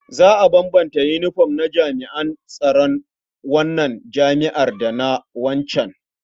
Za a bambanta yinifom na jami'an tsaron wannan jami'ar da na waccan.